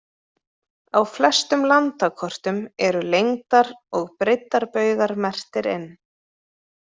Á flestum landakortum eru lengdar- og breiddarbaugar merktir inn.